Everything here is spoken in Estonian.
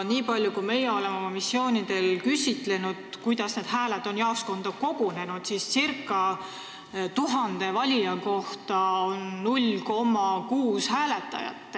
Niipalju kui meie oleme missioonidel küsinud, kuidas need hääled on jaoskonda kogunenud, siis on selgunud, et ca 1000 valija kohta on 0,6 kodus hääletajat.